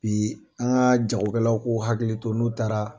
Bi an ka jagokɛlaw k'u hakili to n'u taara